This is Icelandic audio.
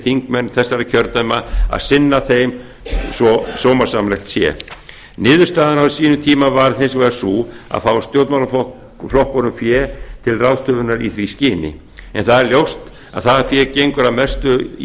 þingmenn þessara kjördæma að sinna þeim svo að sómasamlegt sé niðurstaðan á sínum tíma varð hins vegar sú að fá stjórnmálaflokkunum fé til ráðstöfunar í því skyni það er þó ljóst að það fé gengur að mestu í